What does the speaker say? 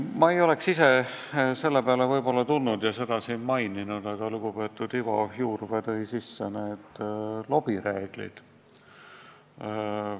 Ma ei oleks ise selle peale võib-olla tulnud ja seda siin maininud, aga lugupeetud Ivo Juurvee võttis jutuks lobireeglid.